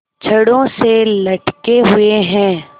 छड़ों से लटके हुए हैं